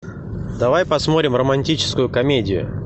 давай посмотрим романтическую комедию